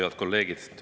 Head kolleegid!